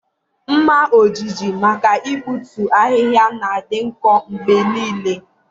Ḿmà ojiji maka igbutu ahịhịa na-adị nkọ mgbe niile.